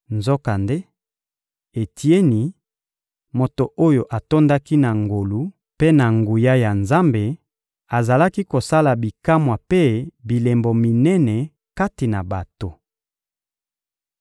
Nzokande, Etieni, moto oyo atondaki na ngolu mpe na nguya ya Nzambe, azalaki kosala bikamwa mpe bilembo minene kati na bato.